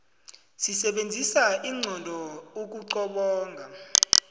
sisebenzisa inqondo ukuqobonga